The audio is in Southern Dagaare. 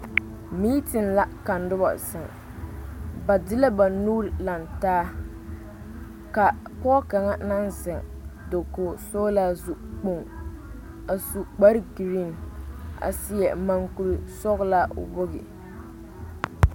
Miitiŋ la ka noba zeŋ ba de la ba nuure lantaa kaa pɔge kaŋa naŋ zeŋ dakoo sɔgelaa zukpoŋ a su kpar geree a seɛ mɔŋkuri sɔgelaa o wogi